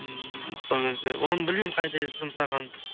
ммм сол кезде оны білмеймін қайда жұмсағаным